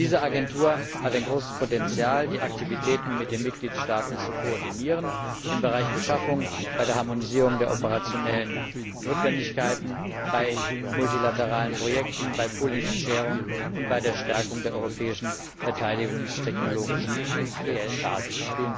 Diese Agentur hat ein großes Potenzial, die Aktivitäten mit den Mitgliedstaaten zu koordinieren im Bereich Beschaffung, bei der Harmonisierung der operationellen Notwendigkeiten, bei multilateralen Projekten, beim pooling und sharing und bei der Stärkung der europäischen verteidigungstechnologischen und industriellen Basis.